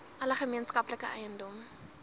alle gemeenskaplike eiendom